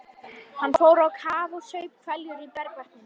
Hann fór á kaf og saup hveljur í bergvatninu.